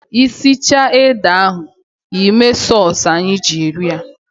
Ị sichaa ede ahụ, Ị mee sọsụ anyị ji eri ya.